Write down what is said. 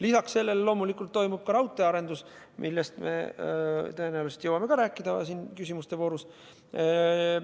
Lisaks sellele toimub loomulikult ka raudteearendus, millest me tõenäoliselt samuti jõuame siin küsimuste voorus rääkida.